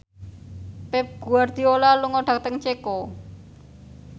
Pep Guardiola lunga dhateng Ceko